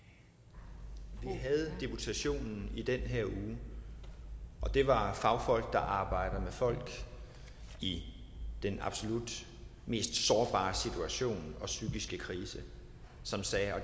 vi havde deputation i den her uge og det var fagfolk der arbejder med folk i den absolut mest sårbare situation og psykiske krise